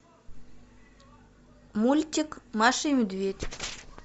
мультик маша и медведь